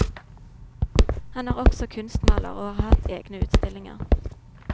Han er også kunstmaler, og har hatt egne utstillinger.